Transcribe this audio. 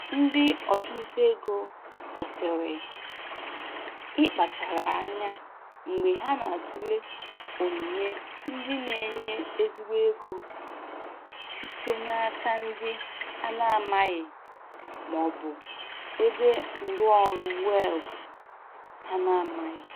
Ndị ọchụnta ego kwesịrị ịkpachara anya mgbe ha na-atụle onyinye ndị na-enye ezigbo ego site n'aka ndị a na-amaghị ma ọ bụ ebe nrụọrụ weebụ ha na-amaghị.